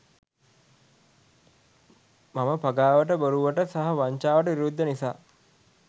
මම පගාවට බොරුවට සහ වංචාවට විරුද්ද නිසා